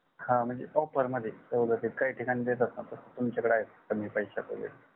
हा म्हणजे offer मध्ये सवलतित काही ठिकाणी देतेता न तस तुमच्या कडे आहे का कमी पैश्यात वगेरे